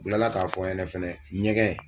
Kilala k'a fɔ n ɲɛnɛ fana ɲɛgɛn.